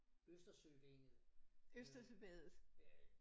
Østersøvænget øh